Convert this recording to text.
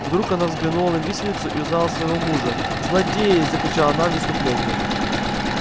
вдруг она взглянула на виселицу и узнала своего мужа злодеи закричала она в исступлении